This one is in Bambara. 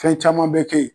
Fɛn caman bɛ kɛ yen